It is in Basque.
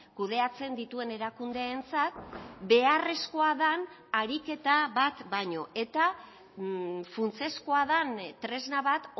kudeatzen dituen erakundeentzat beharrezkoa den ariketa bat baino eta funtsezkoa den tresna bat